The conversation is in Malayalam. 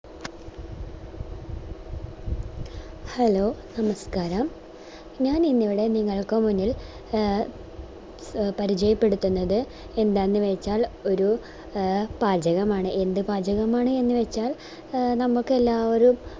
hello നമസ്ക്കാരം ഞാനിന്നിവിടെ നിങ്ങൾക്ക് മുന്നിൽ ആഹ് ആഹ് പരിചയപ്പെടുത്തുന്നത് എന്താന്ന് വെച്ചാൽ ഒര് ആഹ് പാചകമാണ് എൻറെ പാചകമാണ് എന്ന് വെച്ചാ നമുക്കെല്ലാ